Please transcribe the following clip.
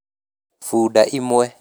Bunda imwe